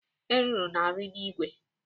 Eruru na-arị n'ìgwè.